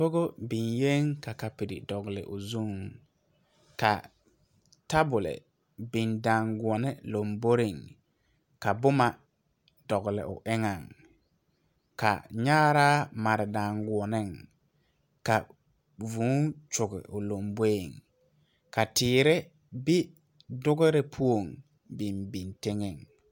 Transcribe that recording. Kogo biŋyeŋ ka kapire dɔgle o zuŋ ka tabole biŋ daanguone lomboreŋ ka bomma dɔgle o eŋɛŋ ka nyaaraa mare daanguoneŋ ka vūū kyoge o lomboeŋ ka teere be dugerre poɔŋ biŋ biŋ tenŋɛŋ.